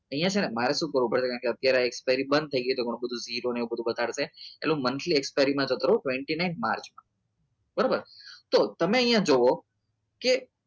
અહીંયા છે ને મારે શું કરવું પડે કારણ કે અત્યારે expired બંધ થઈ ગઈ તો તો નવ બતાવેલ છે એટલે હું monthly expired માં જતો ઓગન્તૃસ લાઈન માર્ચમાં બરાબર તો હું તો તમે અહીંયા જુઓ કે